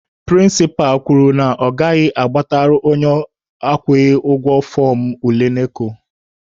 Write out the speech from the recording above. Prịnsịpa kwuru na ọ gaghị agbatara onye akwụghị ụgwọ fọọmụ ule NECO.